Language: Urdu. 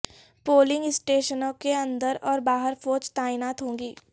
پولنگ اسٹیشنوں کے اندر اور باہر فوج تعینات ہوگی